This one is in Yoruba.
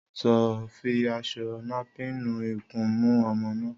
Sọ fi àsọ nàpín nú ìkúnù ọmọ nà?